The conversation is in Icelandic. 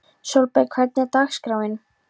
Sólberg, hvernig er dagskráin?